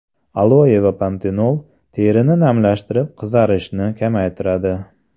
Aloe va pantenol terini namlantirib qizarishni kamaytiradi.